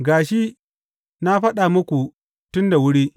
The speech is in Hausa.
Ga shi, na faɗa muku tun da wuri.